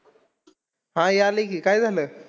हा, यायलंय की. काय झालंय?